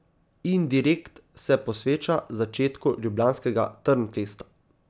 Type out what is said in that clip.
Indirekt se posveča začetku ljubljanskega Trnfesta.